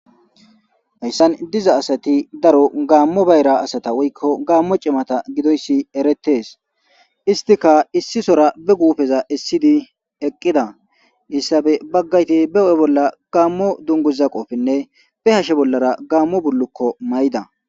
Hayssan diza asati daro gaammo bayra asata woykko gaammo cimata gidoyssi eretees istika issisora be guufeza issidi eqqida issabe baggayti be ho'e bolla gaammo dunguza qofinne be hashe bollara gaammo bullukko mayida